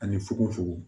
Ani fukofukon